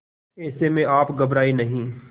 ऐसे में आप घबराएं नहीं